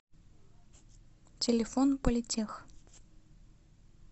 телефон политех